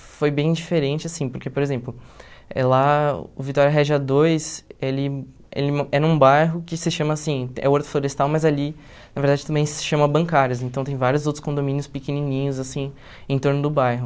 Foi bem diferente, assim, porque, por exemplo, eh lá o Vitória Regia Dois, ele ele era um bairro que se chama assim, é horto florestal, mas ali, na verdade, também se chama bancárias, então tem vários outros condomínios pequenininhos, assim, em torno do bairro.